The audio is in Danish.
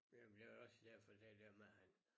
Jamen jeg er også ja for der der hvor han